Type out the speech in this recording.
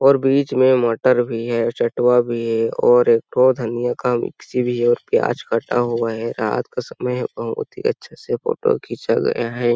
और बीच मे मटर भी है चटवा भी है और एक ठो धनिया का मिक्सी भी है प्याज कटा हुआ है रात का समय बहुत ही अच्छे से फोटो खिचा गया है।